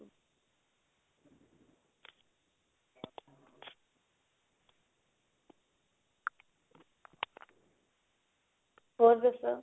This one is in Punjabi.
ਹੋਰ ਦੱਸੋ